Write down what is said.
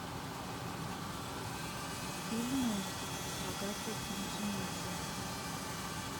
фильмы с агатой муцениеце